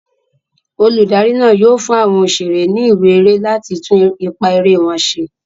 Olùdarí náà yóò fún àwọn òṣèré ní ìwé eré láti tún ipá eré wọn ṣe.